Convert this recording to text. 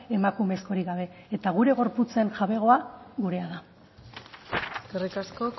emakumezkorik gabe eta gure gorputzen jabegoa gurea da eskerrik asko